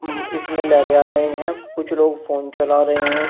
अं इसमें लहरें आ रहे हैं कुछ लोग फोन चला रहे हैं इस--